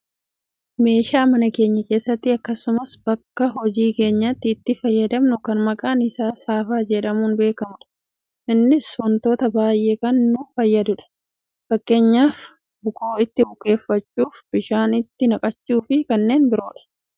meeshaa mana keenya keessatti akkasumas bakka hojii keenyaatti itti fayyadamnu kan maqaan isaa saafaa jedhamuun beekkamudha. Innis wantoota baayyeef kan nu fayyadudha, fakkeenyaaf bukoo itti bukeeffachuuf, bishaan itti naqachuufi kanneen biroodha.